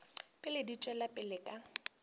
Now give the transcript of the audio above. pele di tšwela pele ka